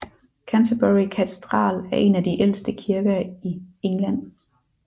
Canterbury Katedral er en af de ældste kirker i England